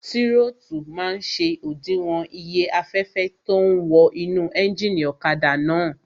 Tírótù máa n ṣe òdiwọ̀n iye afẹ́fẹ́ tó ún wọ inú éjìnì ọ̀kadà náà